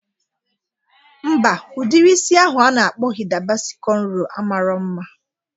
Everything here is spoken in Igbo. Mba, udiri isi ahụ a na-akpọ Hida Basi kọnro a marọ mma